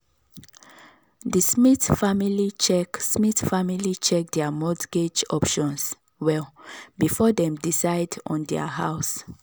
the smith family check smith family check their mortgage options well before dem decide on their house.